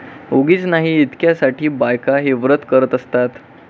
उगीच नाही इतक्या साठी बायका हे व्रत करत असतात